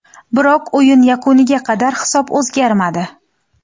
Biroq o‘yin yakuniga qadar hisob o‘zgarmadi.